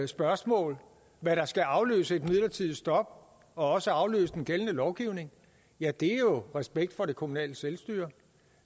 spørgsmålet om hvad der skal afløse et midlertidigt stop og også afløse den gældende lovgivning ja det er jo respekt for det kommunale selvstyre